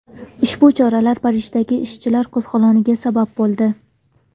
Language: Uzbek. Ushbu choralar Parijdagi ishchilar qo‘zg‘oloniga sabab bo‘ldi.